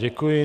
Děkuji.